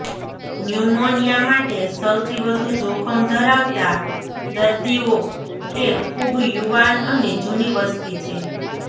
pneumonia માટે સૌથી વધુ જોખમ ધરાવતા દર્દીઓ એ ખૂબ યુવાન અને જૂની વસ્તી છે